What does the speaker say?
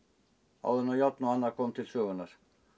áður en járn og annað kom til sögunnar